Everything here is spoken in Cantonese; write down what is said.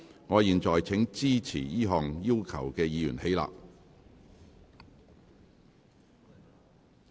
我現在請支持這項要求的議員起立。